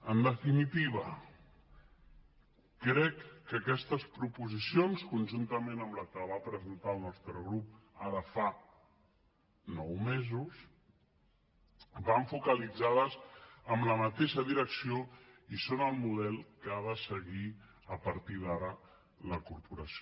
en definitiva crec que aquestes proposicions conjuntament amb la que va presentar el nostre grup ara fa nou mesos van focalitzades en la mateixa direcció i són el model que ha de seguir a partir d’ara la corporació